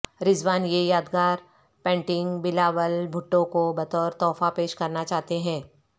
رضوان یہ یادگار پینٹنگ بلاول بھٹو کو بطور تحفہ پیش کرنا چاہتے ہیں